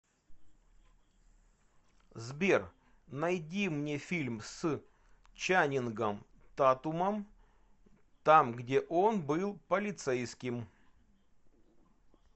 сбер найди мне фильм с чанингом татумом там где он был полицейским